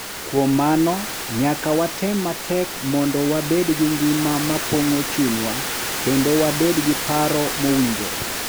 Kuom mano, nyaka watem matek mondo wabed gi ngima ma pong’o chunywa kendo wabed gi paro mowinjore.